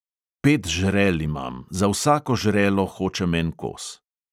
Pet žrel imam, za vsako žrelo hočem en kos.